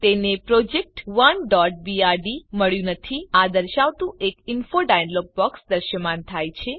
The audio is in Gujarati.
તેને project1બીઆરડી મળ્યું નથી આ દર્શાવતું એક ઇન્ફો ડાયલોગ બોક્સ દ્રશ્યમાન થાય છે